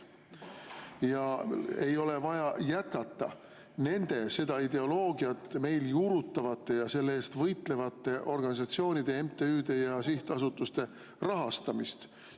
Ja ei ole vaja jätkata seda ideoloogiat meil juurutavate ja selle eest võitlevate organisatsioonide ja MTÜ-de ja sihtasutuste rahastamist.